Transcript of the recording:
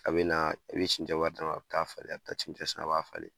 A bɛ naa i be sincɛ wari d'a ma, a be taa'a falen a be taa cɛncɛn san a b'a falen.